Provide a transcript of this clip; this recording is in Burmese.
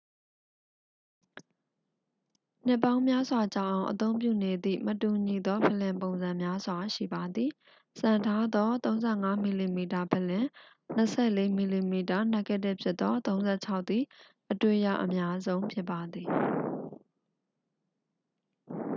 နှစ်ပေါင်းများစွာကြာအောင် အသုံးပြုနေသည့် မတူညီသော ဖလင်ပုံစံများစွာ ရှိပါသည်။ စံထားသော ၃၅ mm ဖလင် ၂၄ mm နက်ဂတစ်ဖြစ်သော ၃၆ သည် အတွေ့ရအများဆုံးဖြစ်ပါသည်။